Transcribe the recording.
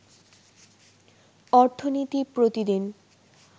অর্থনীতি প্রতিদিন